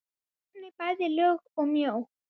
hornin bæði löng og mjó.